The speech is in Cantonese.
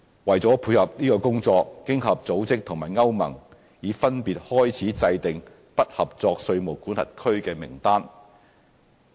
為配合這工作，經合組織和歐洲聯盟已分別開始制訂"不合作稅務管轄區"名單。